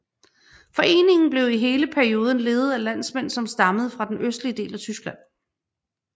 Foreningen blev i hele perioden ledet af landmænd som stammede fra den østlige del af Tyskland